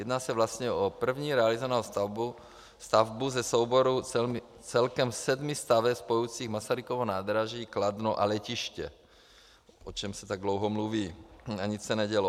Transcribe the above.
Jedná se vlastně o první realizovanou stavbu ze souboru celkem sedmi staveb spojujících Masarykovo nádraží, Kladno a letiště, o čemž se tak dlouho mluví, ale nic se nedělo.